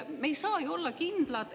Me ei saa ju olla kindlad …